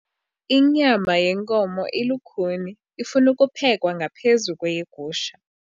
Inyama yenkomo ilukhuni ifuna ukuphekwa ngaphezu kweyegusha.